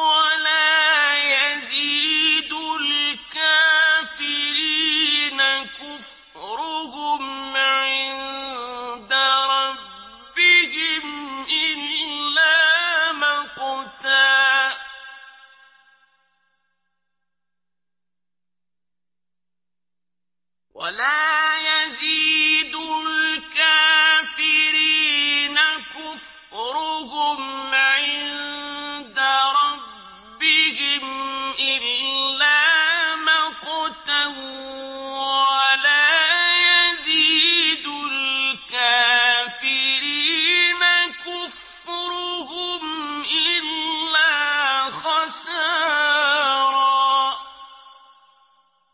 وَلَا يَزِيدُ الْكَافِرِينَ كُفْرُهُمْ عِندَ رَبِّهِمْ إِلَّا مَقْتًا ۖ وَلَا يَزِيدُ الْكَافِرِينَ كُفْرُهُمْ إِلَّا خَسَارًا